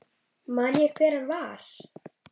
Man ég hver hann var?